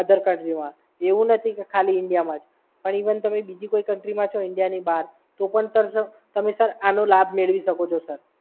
અધર કન્ટ્રીમાં. એવું નથી કે ખાલી ઇન્ડિયામાં જ પણ ઇવન તમે બીજી કોઈ કંપનીમાં છો ઇન્ડિયાની બહાર તો પણ સર તમે સર આનો લાભ મેળવી શકો છો સર.